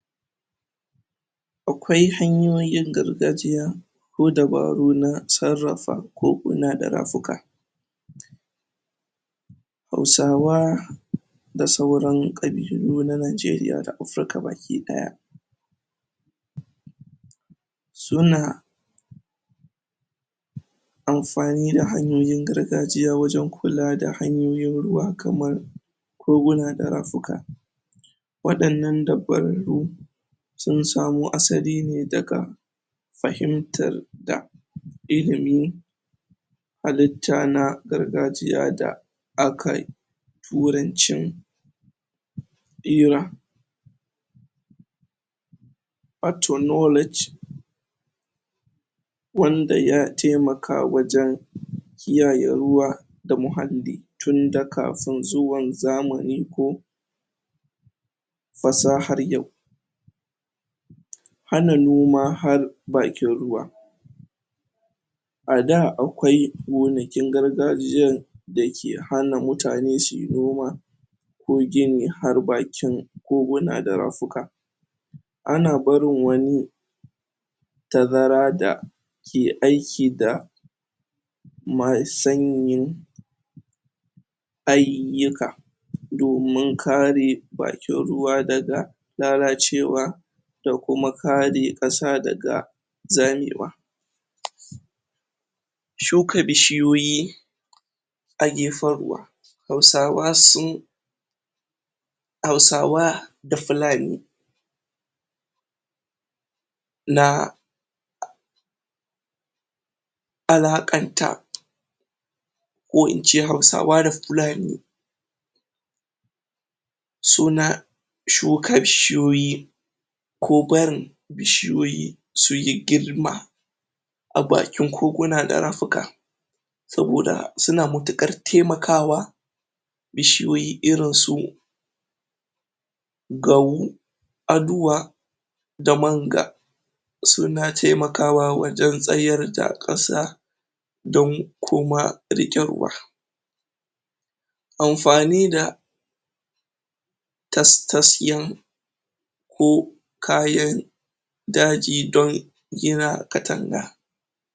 akwai hanyoyin gargajiya ko dabaru na sarrafa koguna da rafuka? hausawa da suran ƙabilu na najeriya da afirka baki ɗaya? suna? anfani da hanyoyin gargajiya wajen kula da hanyoyin ruwa kamar koguna da rafuka waɗannan da farko sun samo asali ne daga fahimtar da? ilimi halitta na gargajiya da akai turancin? pertonology? wanda ya taimaka wajen? kiyaye ruwa da muhalli tunda kafin zuwan zamani ko fasahar yau? ana noma har bakin ruwa a da akwai gonakin gargajiyan da ke hana mutane suyi noma ko gini har bakin koguna da rafuka ana barin wani tazara da ke aiki da mai sanyin aiyika domin kare bakin ruwa daga lalacewa da kuma kare ƙasa daga zamewa? shuka bishiyoyi a gefen ruwa hausawa sun hausawa da fulani na? alaƙanta ko in ce hausawa da fulani suna suka bishiyoyi ko barin bishiyoyi suyi girma a bakin koguna da rafuka saboda suna matuƙar taimakawa bishiyoyi irin su gawwu aduwa damanga suna taimakawa wajen tsayar da ƙasa don kuma riƙe ruwa anfani da tas ta siyan ko kayan daji don gina katanga